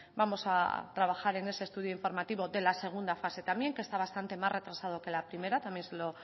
vamos a trabajar en ese estudio informativo de la segunda fase también que está bastante más retrasado que la primera también se lo